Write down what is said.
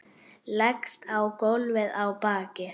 Leggst á gólfið á bakið.